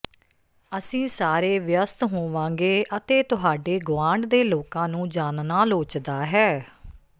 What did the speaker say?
ਅਸੀਂ ਸਾਰੇ ਵਿਅਸਤ ਹੋਵਾਂਗੇ ਅਤੇ ਤੁਹਾਡੇ ਗੁਆਂਢ ਦੇ ਲੋਕਾਂ ਨੂੰ ਜਾਣਨਾ ਲੋਚਦਾ ਹੈ